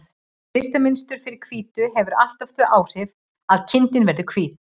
Litamynstur fyrir hvítu hefur alltaf þau áhrif að kindin verður hvít.